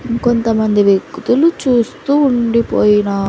ఇంకొంతమంది వ్యక్తులు చూస్తూ ఉండిపోయినా.